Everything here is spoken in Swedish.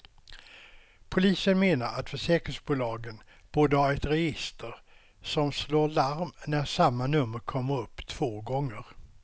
Polisen menar att försäkringsbolagen borde ha ett register som slår larm när samma nummer kommer upp två gånger.